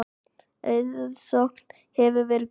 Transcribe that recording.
Aðsókn hefur verið góð.